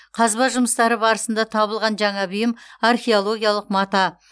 қазба жұмыстары барысында табылған жаңа бұйым археологиялық мата